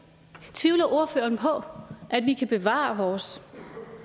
tvivler ordføreren på at vi kan bevare vores